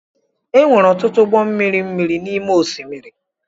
E nwere ọtụtụ ụgbọ mmiri miri n’ime osimiri